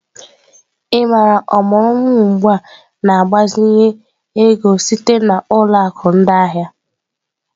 Ị maara ọmụrụ nwa ugbu a na mgbazinye ego sitere na ụlọ akụ ndị ahịa?